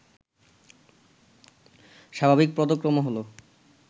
স্বাভাবিক পদক্রম হল